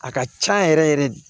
A ka can yɛrɛ yɛrɛ yɛrɛ de